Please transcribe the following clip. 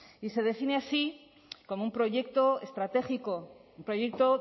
y se define así como un proyecto estratégico un proyecto